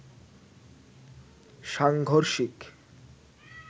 সাংঘর্ষিক